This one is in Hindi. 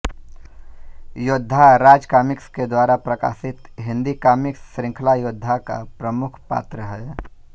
योद्धा राज कॉमिक्स के द्वारा प्रकशित हिन्दी कॉमिक्स श्रुंखला योद्धा का प्रमुख पात्र है